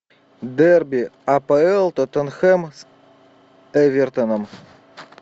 дерби апл тоттенхэм с эвертоном